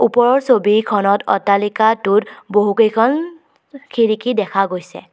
ওপৰৰ ছবিখনত অট্টালিকাটোত বহুকেইখন খিৰিকী দেখা গৈছে।